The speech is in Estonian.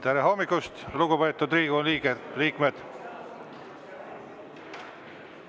Tere hommikust, lugupeetud Riigikogu liikmed!